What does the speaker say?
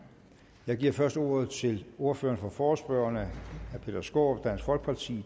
jeg giver først ordet til ordføreren for forespørgerne herre peter skaarup dansk folkeparti